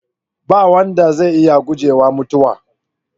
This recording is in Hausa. Ba wanda zai iya gujewa mutuwa.